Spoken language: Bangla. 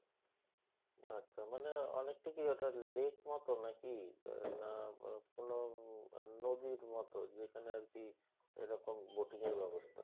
আচ্ছা মানে অনেকটা কি ওটা lake মত নাকি? আহ না বা কোনও উম আহ নদীর মত যেখানে আরকি এরকম boating এর ব্যবস্থা